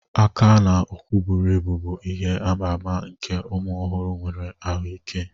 Aka na ụkwụ buru ibu bụ ihe ama ama nke ụmụ ọhụrụ nwere ahụike.